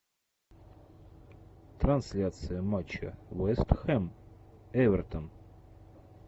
трансляция матча вест хэм эвертон